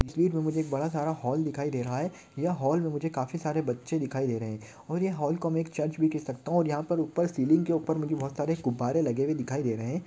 बहुत बड़ा हॉल दिखाई दे रहै है यहा हॉल मे काफी सारे बच्चे दिखाई दे रहै है और यह हॉल को हम चर्च भी कह सकते है यहा पर उपर सीलिंग के उपर बहुत सारे गुब्बारे लगे हुए दिखाई दे रहे है।